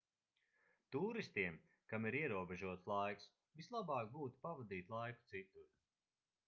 tūristiem kam ir ierobežots laiks vislabāk būtu pavadīt laiku citur